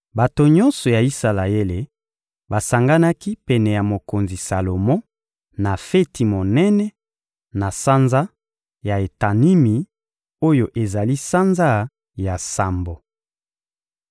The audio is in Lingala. Bato nyonso ya Isalaele basanganaki pene ya mokonzi Salomo, na feti monene, na sanza ya Etanimi oyo ezali sanza ya sambo.